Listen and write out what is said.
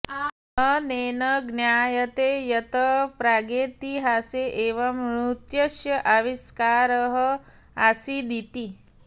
अनेन ज्ञायते यत् प्रागेतिहासे एव नृत्यस्य आविष्कारः आसीदिति